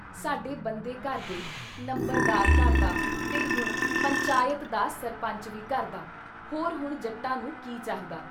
ਸਾਡੇ ਬੰਦੇ ਘਰ ਦੇ, ਨੰਬਰਦਾਰ ਘਰ ਦਾ ਤੇ ਹੁਣ ਪੰਚਾਇਤ ਦਾ ਸਰਪੰਚ ਵੀ ਘਰ ਦਾ। ਹੋਰ ਹੁਣ ਜੱਟਾਂ ਨੂੰ ਕੀ ਚਾਹੀਦਾ ?